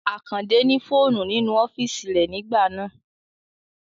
Àkàndé ní fóònù nínú ọ́físì rẹ nígbà náà